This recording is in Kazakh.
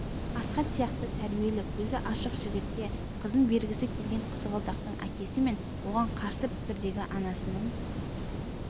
асхат сияқты тәрбиелі көзі ашық жігітке қызын бергісі келген қызғалдақтың әкесі мен оған қарсы пікірдегі анасының